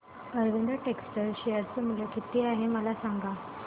Arvind textile चे share मूल्य किती आहे मला सांगा